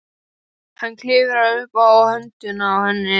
Hann klifrar upp á höndina á henni.